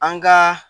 An ka